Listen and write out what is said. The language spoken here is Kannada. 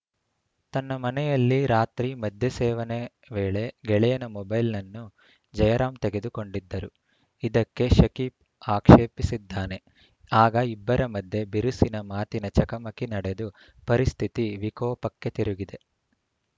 ತನ್ನ ಮನೆಯಲ್ಲಿ ರಾತ್ರಿ ಮದ್ಯ ಸೇವನೆ ವೇಳೆ ಗೆಳೆಯನ ಮೊಬೈಲ್‌ನನ್ನು ಜಯರಾಂ ತೆಗೆದುಕೊಂಡಿದ್ದರು ಇದಕ್ಕೆ ಶಕೀಬ್‌ ಆಕ್ಷೇಪಿಸಿದ್ದಾನೆ ಆಗ ಇಬ್ಬರ ಮಧ್ಯೆ ಬಿರುಸಿನ ಮಾತಿನ ಚಕಮಕಿ ನಡೆದು ಪರಿಸ್ಥಿತಿ ವಿಕೋಪಕ್ಕೆ ತಿರುಗಿದೆ